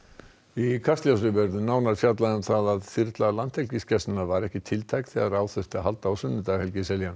í Kastljósi verður nánar fjallað um það að þyrla Landhelgisgæslunnar var ekki tiltæk þegar á þurfti að halda á sunnudag Helgi Seljan